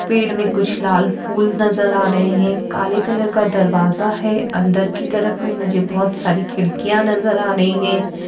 पेड़ में कुछ लाल फूल नजर आ रहे हैं काले कलर का दरवाजा है अंदर की तरफ में मुझे बहुत सारी खिड़कियां नजर आ रही हैं।